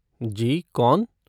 जी, कौन?